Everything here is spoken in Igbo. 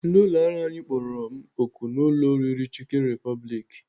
Ndị ụlọọrụ anyị kpọrọ m oku n'ụlọ oriri Chicken Republic.